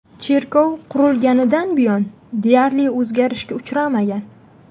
Cherkov qurilganidan buyon deyarli o‘zgarishga uchramagan.